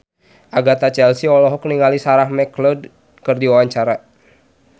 Agatha Chelsea olohok ningali Sarah McLeod keur diwawancara